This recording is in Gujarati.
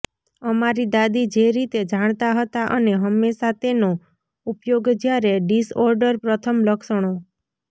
અમારી દાદી જે રીતે જાણતા હતા અને હંમેશા તેનો ઉપયોગ જ્યારે ડિસઓર્ડર પ્રથમ લક્ષણો